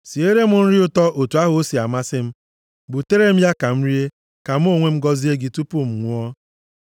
Siere m nri ụtọ otu ahụ o si amasị m, butere m ya ka m rie, ka mụ onwe m gọzie gị tupu m nwụọ.”